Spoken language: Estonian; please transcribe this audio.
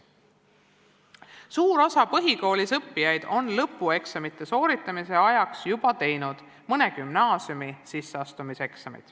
Suur osa põhikoolis õppijaid on lõpueksamite sooritamise ajaks teinud juba mõne gümnaasiumi sisseastumiseksami.